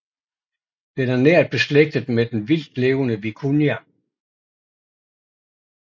Den er nært beslægtet med den vildtlevende vikunja